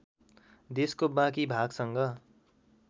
देशको बाँकी भागसँग